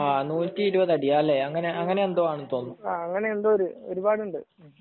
നൂറ്റി ഇരുപത് അടി അങ്ങനെ എന്തോ ആണെന്ന് തോന്നുന്നു